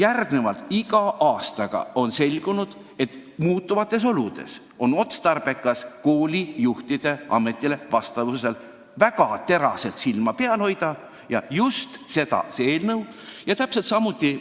Nüüd on iga aastaga aina rohkem selgunud, et muutuvates oludes on otstarbekas koolijuhtide sobivusel ametisse väga teraselt silma peal hoida ja just seda plaani selle eelnõu esitleja meile tutvustas.